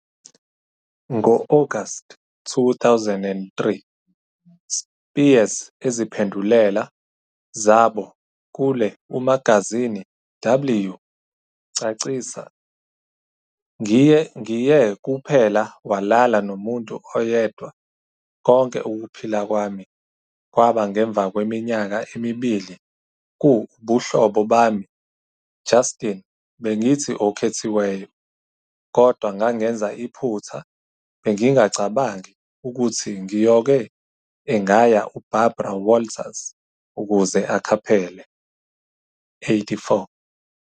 Ngo-August 2003, Spears eziphendulela zabo kule umagazini W, cacisa- "ngiye kuphela walala nomuntu oyedwa konke ukuphila kwami ​​kwaba ngemva kweminyaka emibili ku ubuhlobo bami Justin Bengithi okhethiweyo, kodwa ngangenza iphutha Bengingacabangi ukuthi ngiyoke engaya uBarbara Walters ukuzeakhaphele". 84